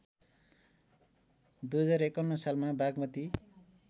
२०५१ सालमा बागमती